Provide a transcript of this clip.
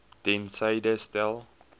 ter syde stel